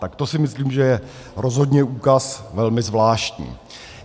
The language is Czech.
Tak to si myslím, že je rozhodně úkaz velmi zvláštní.